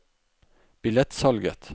billettsalget